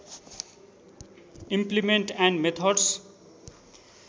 implement and methods